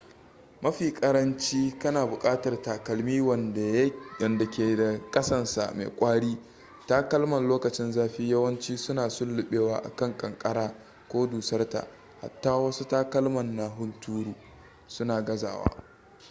mafi karanci kana bukatar takalmi wanda ke da kasansa mai kwari takalman lokacin zafi yawanci su na sullubewa a kan kankara ko dusarta hatta wasu takalman na hunturu su na gazawa